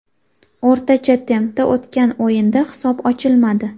O‘rtacha tempda o‘tgan o‘yinda hisob ochilmadi.